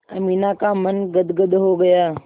अमीना का मन गदगद हो गया